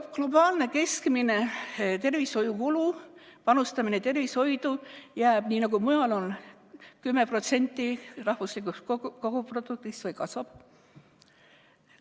Kas globaalne keskmine tervishoiukulu, panustamine tervishoidu, jääb selliseks, nagu mujal on, 10% rahvuslikust koguproduktist, või kasvab?